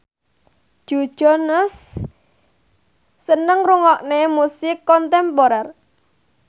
Joe Jonas seneng ngrungokne musik kontemporer